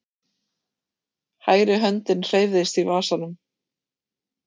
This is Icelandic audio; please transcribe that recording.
Hægri höndin hreyfðist í vasanum.